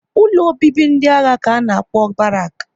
Ụlọ obibi ndị agha ka a na-akpọ Barak